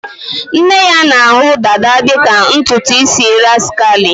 Nne ya na-ahụ dada dị ka ntutu isi rascally